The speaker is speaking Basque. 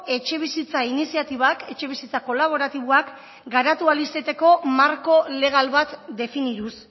etxebizitza iniziatibak etxebizitza kolaboratiboak garatu ahal izateko marko legal bat definituz